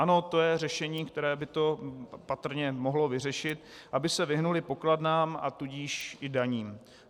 Ano, to je řešení, které by to patrně mohlo vyřešit, aby se vyhnuli pokladnám, a tudíž i daním.